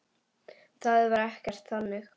Það var ekkert þannig.